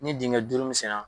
Ni dengɛ duuru min senna